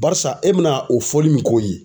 Barisa e bina o fɔli min k'o ye.